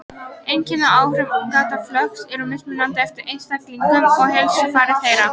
Einkenni og áhrif gáttaflökts eru mismunandi eftir einstaklingum og heilsufari þeirra.